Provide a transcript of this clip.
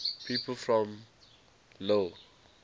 people from lille